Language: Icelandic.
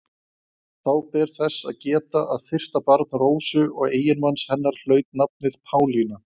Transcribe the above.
Þá ber þess að geta að fyrsta barn Rósu og eiginmanns hennar hlaut nafnið Pálína.